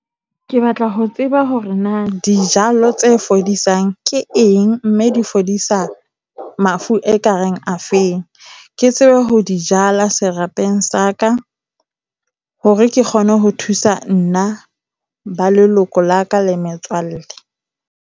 Ke batla ho tseba hore na dijalo tse fodisang ke eng, mme di fodisa mafu ekareng a feng. Ke tsebe ho di jala serapeng sa ka hore ke kgone ho thusa nna, ba leloko la ka le metswalle.